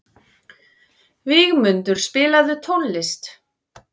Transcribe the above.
Vígmundur, spilaðu tónlist.